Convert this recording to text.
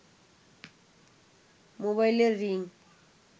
মোবাইলের রিং